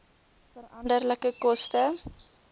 veranderlike koste